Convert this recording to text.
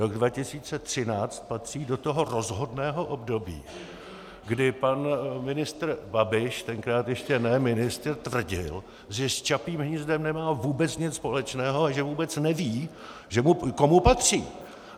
Rok 2013 patří do toho rozhodného období, kdy pan ministr Babiš, tenkrát ještě ne ministr, tvrdil, že s Čapím hnízdem nemá vůbec nic společného a že vůbec neví, komu patří.